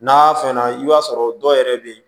N'a fɛn na i b'a sɔrɔ dɔw yɛrɛ bɛ yen